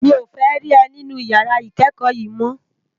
Mi ó fè ri è ninú iyàrá ikèékò yo mò